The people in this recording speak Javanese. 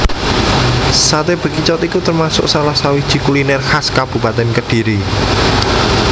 Saté Bekicot iku termasuk salah sawiji kuliner khas Kabupatèn Kediri